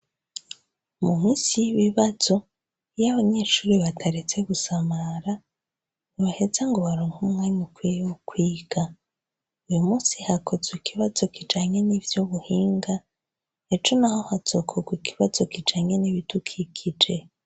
Muhusi bibazo iyo abanyeshuri bataretse gusamara ntibaheza ngo baronka umwami ukwiyewoukwiga uyo musi hakoze ikibazo kijange n'ivyo buhinga eco na ho hazokorwa ikibazo kijangene ibidukikije.